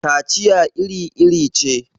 kaciya iri-iri ce